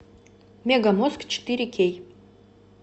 мегамозг четыре кей